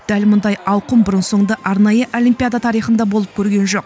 дәл мұндай ауқым бұрын соңды арнайы олимпиада тарихында болып көрген жоқ